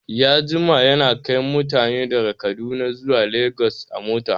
Ya jima yana kai mutane daga kaduna zuwa legas a mota